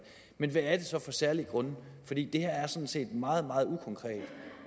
men hvad er det så for særlige grunde for det her er sådan set meget meget ukonkret